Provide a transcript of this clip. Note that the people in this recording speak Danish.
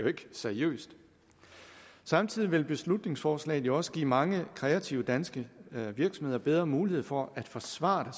ikke seriøst samtidig vil beslutningsforslaget jo også give mange kreative danske virksomheder bedre mulighed for at forsvare